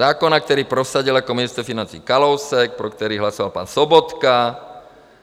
Zákon, který prosadil jako ministr financí Kalousek, pro který hlasoval pan Sobotka